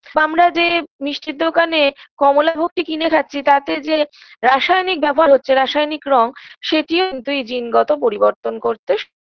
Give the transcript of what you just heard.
বা আমরা যে মিষ্টির দোকানে কমলাভোগটি কিনে খাচ্ছি তাতে যে রাসায়নিক ব্যবহার হচ্ছে রাসায়নিক রঙ সেটি কিন্তু এই জিনগত পরিবর্তন করতে স